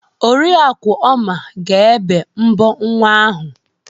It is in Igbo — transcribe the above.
Oriakụ Oma ga-ébé mbọ nwa ahụ.